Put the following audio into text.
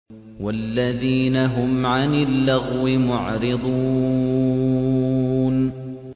وَالَّذِينَ هُمْ عَنِ اللَّغْوِ مُعْرِضُونَ